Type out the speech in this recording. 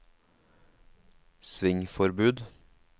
svingforbud